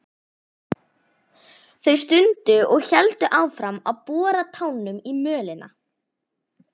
Þau stundu og héldu áfram að bora tánum í mölina.